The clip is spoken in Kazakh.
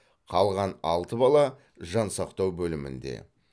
қалған алты бала жансақтау бөлімінде